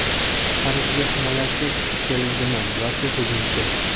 Parijga himoyachi keldimi yoki hujumchi?.